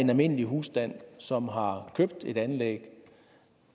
en almindelig husstand som har købt et anlæg